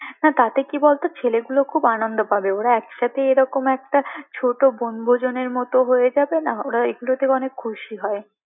না তাতে কি বল দেখি ছেলেগুলো খুব আনন্দ পাবে ওরা একসাথে এরকম একটা ছোট বনভোজনের মতো হয়ে যাবে না ওরা এগুলোতে অনেক খুশি হয়